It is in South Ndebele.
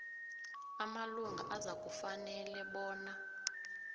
amalunga azakufanele bona